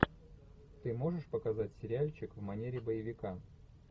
ты можешь показать сериальчик в манере боевика